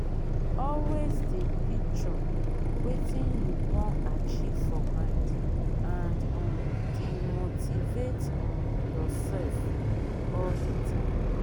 always de picture wetin you won achieve for mind and um de motivate um yourself all the time